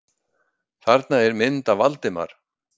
Þarna er mynd af Valdimar.